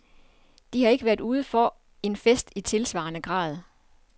De har ikke været ude for en fest i tilsvarende grad.